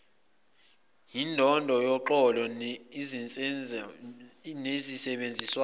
yindondo yoxolo insebenziswano